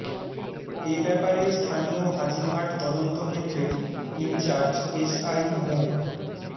এ ব্যাপারে স্থানীয় হাজিরহাট তদন্ত কেন্দ্রের ইনচার্জ এসআই মো